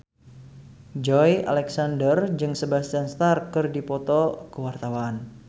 Joey Alexander jeung Sebastian Stan keur dipoto ku wartawan